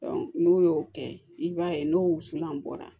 n'u y'o kɛ i b'a ye n'o wusulan bɔra